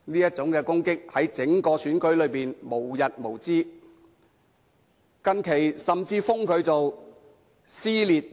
在整個選舉中，這種攻擊無日無之，近日甚至稱她為"撕裂 2.0"，......